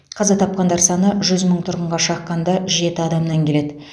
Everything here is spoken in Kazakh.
қаза тапқандар саны жүз мың тұрғынға шаққанда жеті адамнан келеді